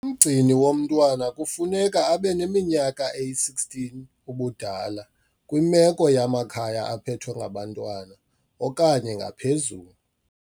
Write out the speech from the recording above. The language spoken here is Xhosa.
Umgcini womntwana kufuneka abe neminyaka eli-16 ubudala kwimeko yamakhaya aphethwe ngabantwana okanye ngaphezulu.